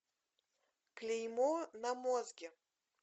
клеймо на мозге